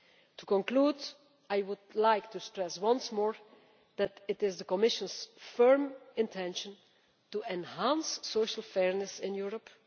To conclude, I would like to stress once more that it is the Commission's firm intention to enhance social fairness in Europe.